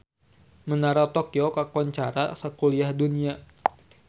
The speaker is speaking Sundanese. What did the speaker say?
Menara Tokyo kakoncara sakuliah dunya